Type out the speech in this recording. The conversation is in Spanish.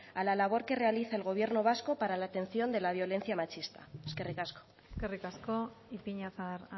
a la labor que realiza el gobierno vasco para la atención de la violencia machista eskerrik asko eskerrik asko ipiñazar